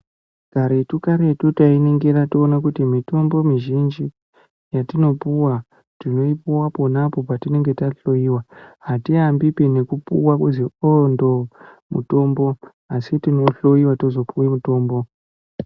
Karetu, karetu tainingira toone kuti mitombo mizhinji yetinopuwa, tinoipuwa ponapo petinohloyiwa, atiambi ngekupuwa kuti o-ndo-o mutombo, asi tinohloyiwa toone tozopuwe mutombo.